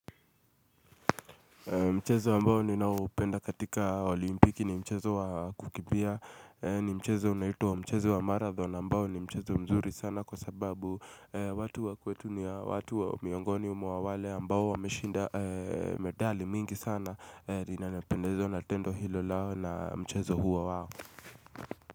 Mchezo ambao ninaupenda katika olimpiki ni mchezo wa kukibia ni mchezo unaitwa mchezo wa marathon ambao ni mchezo mzuri sana kwa sababu watu wakwetu ni watu miangoni umuawale ambao wameshinda medali mingi sana ninapendezwa na tendo hilo lao na mchezo huo wao.